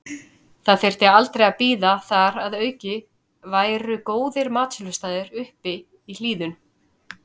Það þyrfti aldrei að bíða og þar að auki væru góðir matsölustaðir uppi í hlíðunum.